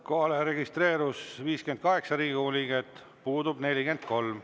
Kohale registreerus 58 Riigikogu liiget, puudub 43.